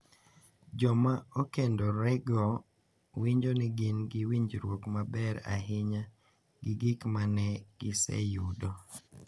Joma okendorego winjo ni gin gi winjruok maber ahinya gi gik ma ne giseyudo